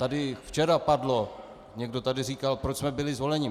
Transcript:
Tady včera padlo, někdo tady říkal, proč jsme byli zvoleni.